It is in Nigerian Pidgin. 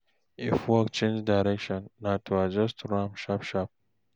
if work change direction, na to adjust to am sharp sharp